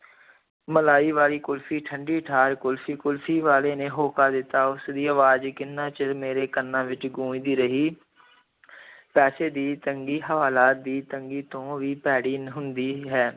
ਮਲਾਈ ਵਾਲੀ ਕੁਲਫ਼ੀ, ਠੰਢੀ ਠਾਰ ਕੁਲਫ਼ੀ, ਕੁਲਫ਼ੀ ਵਾਲੇ ਨੇ ਹੋਕਾ ਦਿੱਤਾ, ਉਸ ਦੀ ਅਵਾਜ਼ ਕਿੰਨਾ ਚਿਰ ਮੇਰੇ ਕੰਨਾਂ ਵਿੱਚ ਗੂੰਜਦੀ ਰਹੀ ਪੈਸੇ ਦੀ ਤੰਗੀ ਹਵਾਲਾਤ ਦੀ ਤੰਗੀ ਤੋਂ ਵੀ ਭੈੜੀ ਹੁੰਦੀ ਹੈ।